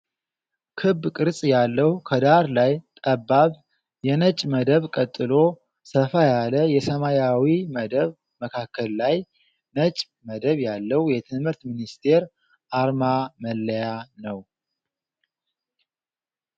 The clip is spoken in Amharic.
ክብ ቅርፅ ያለዉ ከዳር ላይ ጠባብ የነጭ መደብ ቀጥሎ ሰፋ ያለ የሰማያዊ መደብ መካከል ላይ ነጭ መደብ ያለዉ የትምህርት ሚስስቴር አርማ መለያ ነዉ ።